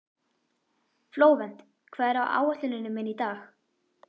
Flóvent, hvað er á áætluninni minni í dag?